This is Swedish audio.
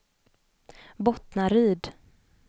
Bottnaryd